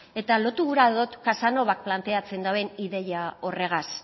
lotu gura dut casanovak planteatzen duen ideia horregaz